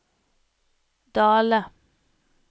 Dale